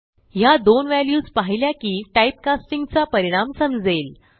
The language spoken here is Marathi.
ह्या दोन व्हॅल्यूज पाहिल्या की टाइपकास्टिंग चा परिणाम समजेल